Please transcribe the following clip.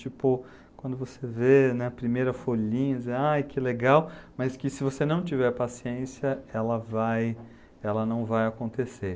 Tipo, quando você vê, né, a primeira folhinha, você dizendo, ai, que legal, mas que se você não tiver paciência, ela vai, ela não vai acontecer.